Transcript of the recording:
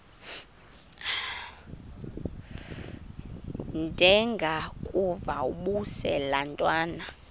ndengakuvaubuse laa ntwana